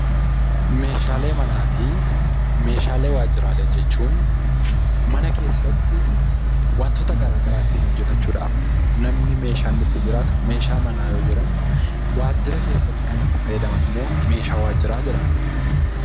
Meeshaalee manaa fi meeshaalee waajjiraalee jechuun mana keessatti wantoota garaagaraa ittiin hojjetachuudhaaf namni meeshaa iinni ittiin jiraatu meeshaa manaa yoo jedhamu, waajjira keessatti kan itti fayyadaman immoo meeshaa waajjiraa jedhama.